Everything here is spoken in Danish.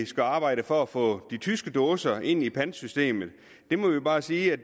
skal arbejdes for at få de tyske dåser ind i pantsystemet der må vi bare sige at